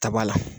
Ta b'a la